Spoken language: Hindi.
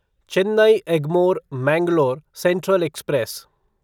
Chennai Egmore Mangalore central express